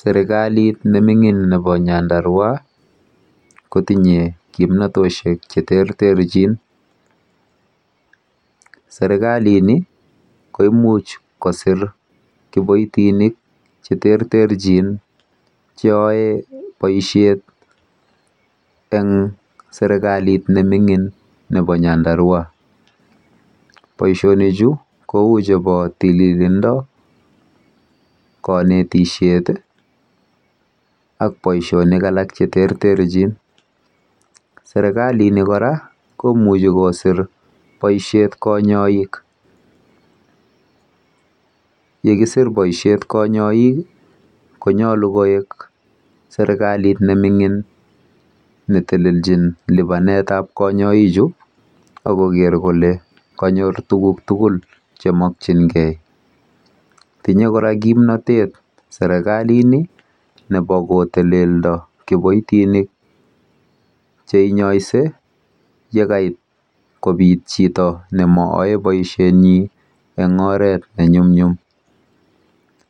Serkalit nemingin nebo nyandarua ko tiny kimnatosiek Che terterchin serkalini ko Imuch kosirkiboitinik Che terterjin Che yoe boisiet en serkalit nemingin nebo nyandarua boisinichu kou chebo tililindo konetisiet ak boisionik alak Che terterjin serkalini kora ko Imuch kosir boisiet konyoik ye kesir boisiet konyoik ko nyolu koik serkalit nemingin ne teleljin lipanetap konyoik ak koger kole konyor tuguk tugul Che mokyingei tinye kora kimnatet sirkalini ko teleldo kiboitinik Che inyoise yebit chito nemoyae boisienyin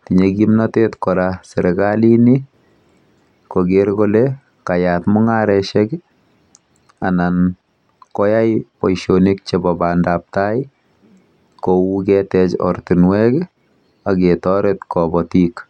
kou ye nyolu serkalini ko kogere kole koyat mungarosiek anan boisiet ab bandap tai ak ketech ortinwek ak ketoret kobotik